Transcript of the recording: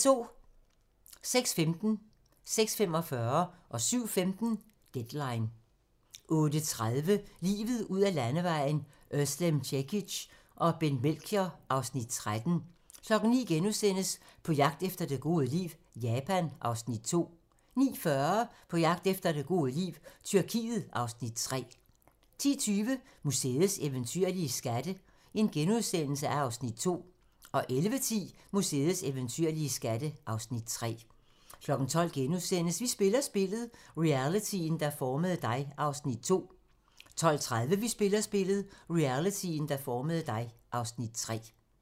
06:15: Deadline 06:45: Deadline 07:15: Deadline 08:30: Livet ud ad landevejen: Özlem Cekic og Bent Melchior (Afs. 13) 09:00: På jagt efter det gode liv - Japan (Afs. 2)* 09:40: På jagt efter det gode liv - Tyrkiet (Afs. 3) 10:20: Museets eventyrlige skatte (Afs. 2)* 11:10: Museets eventyrlige skatte (Afs. 3) 12:00: Vi spiller spillet - realityen, der formede dig (Afs. 2)* 12:30: Vi spiller spillet - realityen, der formede dig (Afs. 3)